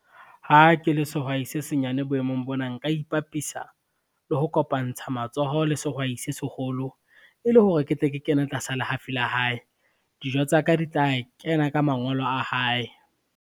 Ha ke le sehwai se senyane boemong bona nka ipapisa, le ho kopantsha matsoho le sehwai se seholo, e le hore ke tle ke kene tlasa lehafi la hae. Dijo tsa ka di tla kena ka mangolo a hae.